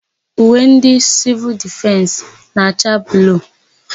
Uwe ndị Sịvịl Difensị na-acha bluu.